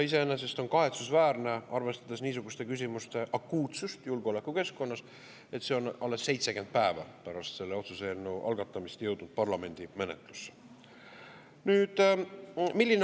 Iseenesest on kahetsusväärne, arvestades niisuguste küsimuste akuutsust julgeolekukeskkonnas, et see on alles 70 päeva pärast selle otsuse eelnõu algatamist jõudnud parlamendi menetlusse.